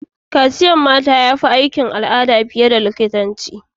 Kaciyar mata ya fi aikin al'ada fiye da likitanci